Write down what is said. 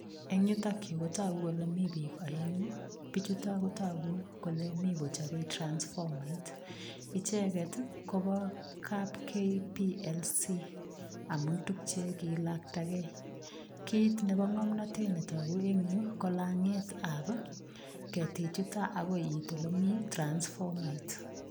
Eng yutok yu kotagu kole mi biik aengu, bichuto ko tagu kole mi kochobei transfomait. Icheget koba kap KPKC amu tugchekilaktagei. Kit nebo ngomnatet netagu eng yu, kolangetab ketichuto agoi iit olemi transfomait.